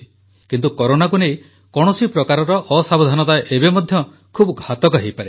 କିନ୍ତୁ କରୋନାକୁ ନେଇ କୌଣସି ପ୍ରକାରର ଅସାବଧାନତା ଏବେ ମଧ୍ୟ ଖୁବ୍ ଘାତକ ହୋଇପାରେ